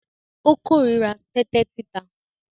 Ó kó ìríra tẹ́tẹ́ títa.